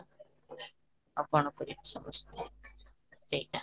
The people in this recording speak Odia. ଆଉ କ'ଣ କରିବା ସମସ୍ତେ ସେଇଟା?